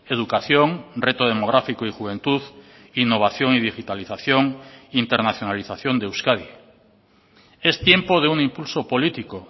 educación reto demográfico y juventud innovación y digitalización internacionalización de euskadi es tiempo de un impulso político